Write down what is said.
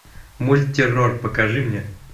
мультеррор покажи мне